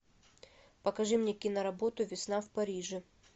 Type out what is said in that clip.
покажи мне киноработу весна в париже